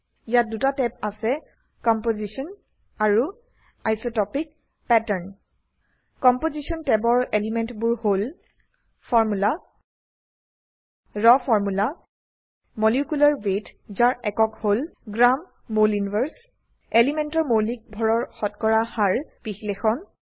ইয়াত দুটা ট্যাব আছে কম্পোজিশ্যন আৰু আইচটপিক পেটাৰ্ন কম্পোজিশ্যন ট্যাবৰ এলিমেন্টবোৰ হল formula raw formula molecular weight যাৰ একক হল gমল 1 grammole ইনভাৰ্ছে এলিমেন্টৰ মৌলিক ভড়ৰ শতকৰা হাৰ বিশ্লেষণ